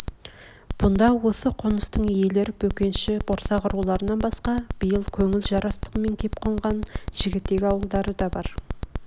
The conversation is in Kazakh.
бұнда осы қоныстың иелер бөкенші борсақ руларынан басқа биыл көңіл жарастығымен кеп қонған жігтек ауылдары да бар